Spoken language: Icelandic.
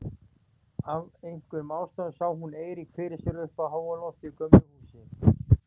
Af einhverjum ástæðum sá hún Eirík fyrir sér uppi á háalofti í gömlu húsi.